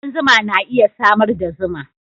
Kudan zuma na iya samar da zuma.